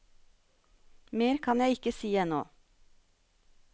Mer kan jeg ikke si ennå.